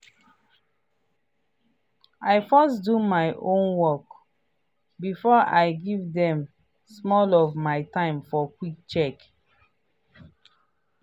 i first do my own work before i give dem small of my time for quick check-in.